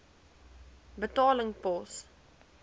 betaling pos